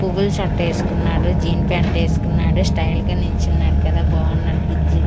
పువ్వుల షర్ట్ ఏస్కున్నాడు jean pant ఏస్కున్నాడు స్టైల్ గా నించున్నాడు కదా బావున్నాడు బుజ్జి--